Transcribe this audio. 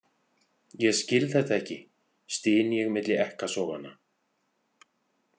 Ég skil þetta ekki, styn ég milli ekkasoganna.